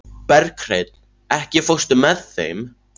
Berghreinn, ekki fórstu með þeim?